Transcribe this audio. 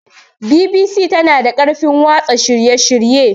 BBC tana da ƙarfin watsa shirye-shirye.